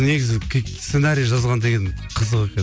негізі сценарий жазған деген қызық екен